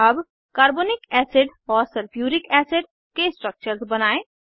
अब carbonic acid और sulphuric acid के स्ट्रक्चर्स बनायें